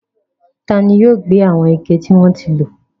Taani yóò gbé àwọn ike tí wọ́n ti lò?